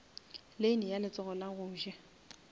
lane ya letsogo la goja